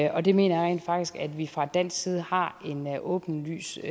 og det mener jeg rent faktisk at vi fra dansk side har en åbenlys